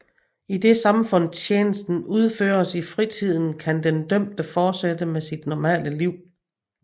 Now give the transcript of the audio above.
Idet samfundstjenesten udføres i fritiden kan den dømte fortsætte med sit normale liv